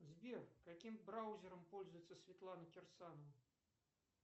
сбер каким браузером пользуется светлана кирсанова